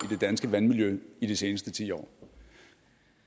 det danske vandmiljø i de seneste ti år